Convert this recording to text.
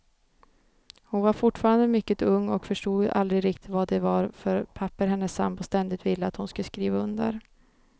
Hon var fortfarande mycket ung och förstod aldrig riktigt vad det var för papper hennes sambo ständigt ville att hon skulle skriva under.